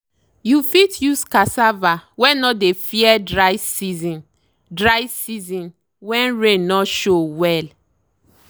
you fit use cassava wey no dey fear dry season dry season when rain no show well.